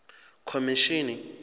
khomishini